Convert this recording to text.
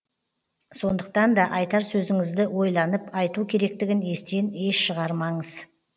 сондықтанда айтар сөзіңізді ойланып айту керектігін естен еш шығармаңыз